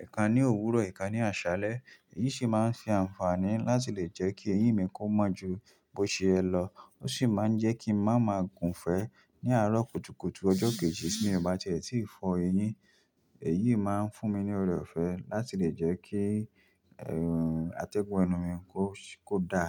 ẹ̀ kan ní òwúrọ̀, ẹ̀ kan ní àṣálẹ́. Èyí sì máa ń ṣe àǹfààní láti lè jẹ́ kí eyín mi kó mọ́ ju bó ṣe ẹ lọ, ó sì máa ń jẹ́ kí n má má gùn fẹ́ ní àárọ̀ kùtùkùtù ọjọ́ kejì tí mo bá tiẹ́ tí fọ eyín. Èyí máa ń fún mi ní ọrẹ ọ̀fẹ́ láti lè jẹ́ kí, ehn, atẹ́gùn ẹnu mi kó, kó dá.